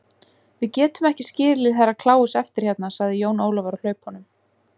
Við getum ekki skilið Herra Kláus eftir hérna, sagði Jón Ólafur á hlaupunum.